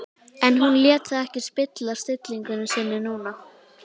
En hún lét það ekki spilla stillingu sinni núna.